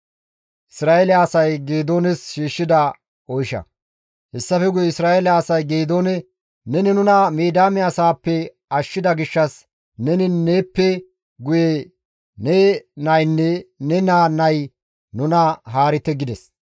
Hessafe guye Isra7eele asay Geedoone, «Neni nuna Midiyaame asaappe ashshida gishshas neni neeppe guye ne naynne ne naa nay nuna haarite» gides.